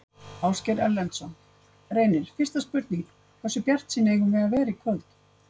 Ásgeir Erlendsson: Reynir, fyrsta spurning, hversu bjartsýn eigum við að vera í kvöld?